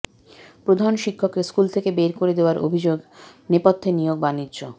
প্রধান শিক্ষককে স্কুল থেকে বের করে দেয়ার অভিযোগ নেপথ্যে নিয়োগ বাণিজ্য